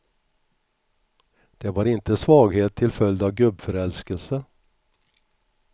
Det var inte svaghet till följd av gubbförälskelse.